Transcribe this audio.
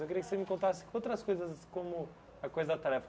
Eu queria que você me contasse outras coisas como a coisa da tarefa.